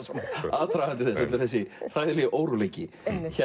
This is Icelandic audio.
aðdragandi þess þessi hræðilegi óróleiki